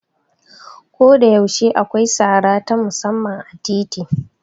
Koda yaushe akwai sara ta musamman a titi.